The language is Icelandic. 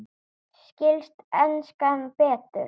Skilst enskan betur?